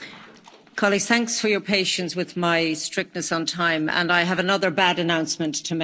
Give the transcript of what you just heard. Colleagues, thanks for your patience with my strictness on time, and I have another bad announcement to make.